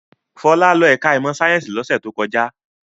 Fọlá lọ ẹ̀ka-ẹ̀kọ́ ìmọ̀-sáyẹ́ńsì lọ́sẹ̀ tó kọjá.